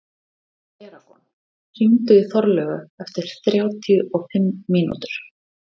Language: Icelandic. Eragon, hringdu í Þorlaugu eftir þrjátíu og fimm mínútur.